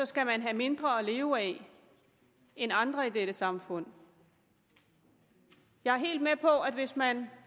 skal man have mindre at leve af end andre i dette samfund jeg er helt med på at hvis man